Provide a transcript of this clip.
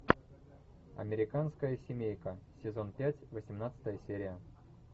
американская семейка сезон пять восемнадцатая серия